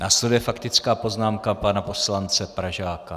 Následuje faktická poznámka pana poslance Pražáka.